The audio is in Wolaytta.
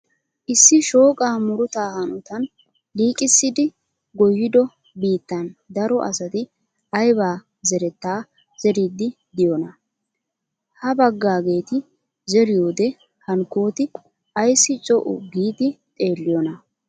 Issi shooqaa murutta hanotan liiqqissidi goyiiddo biittan daro asati ayba zerettaa zeeriidi diyonaa? Ha bagaageeti zeriyode hankkooti ayssi co"u giidi xeelliyonaa?